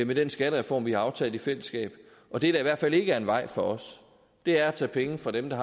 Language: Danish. med den skattereform vi har aftalt i fællesskab det der i hvert fald ikke er en vej for os er at tage penge fra dem der